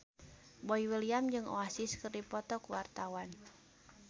Boy William jeung Oasis keur dipoto ku wartawan